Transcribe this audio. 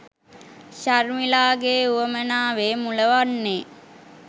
ශර්මිලාගේ වුවමනාවේ මුල වන්නේ